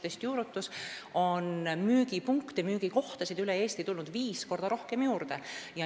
Tänu sellele on müügipunkte ja müügikohtasid üle Eesti tulnud juurde viis korda rohkem.